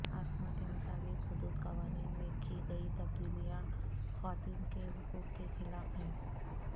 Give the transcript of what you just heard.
عاصمہ کے مطابق حدود قوانین میں کی گئی تبدیلیاں خواتین کے حقوق کے خلاف ہیں